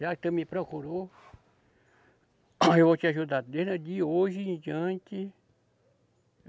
Já que tu me procurou, aí eu vou te ajudar desde hoje em diante.